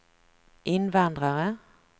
invandrare